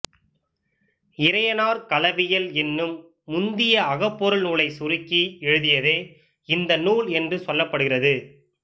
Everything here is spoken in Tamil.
இறையனார் களவியல் என்னும் முந்திய அகப்பொருள் நூலைச் சுருக்கி எழுதியதே இந்த நூல் என்று சொல்லப்படுகிறது